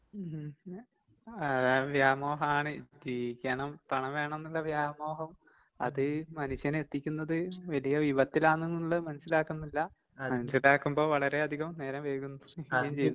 ഉം ഏഹ് അത് വ്യാമോഹാണ് ജീവിക്കണം പണം വേണംന്നുള്ള വ്യാമോഹം. അത് മനുഷ്യനെ എത്തിക്കുന്നത് വലിയ വിപത്തിലാണെന്നുള്ളേ മനസ്സിലാക്കുന്നില്ല മനസ്സിലാക്കുമ്പോ വളരെ അധികം നേരം വൈകുന്നു വൈകോം ചെയ്യുന്നു.